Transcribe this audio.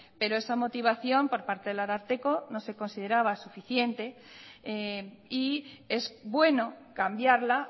pero esa motivación por parte del ararteko no se consideraba suficiente y es bueno cambiarla